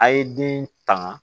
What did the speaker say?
A' ye den tanga